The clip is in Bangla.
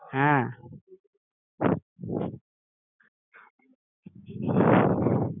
হ্যাঁ